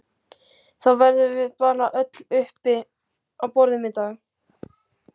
Þá verðum við bara öll uppi á borðum í dag